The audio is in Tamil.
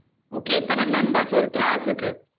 okay எத்தனை members ஒரு class க்கு?